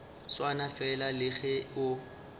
swana fela le ge o